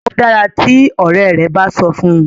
o dára tí òré rẹ bá sọ fún.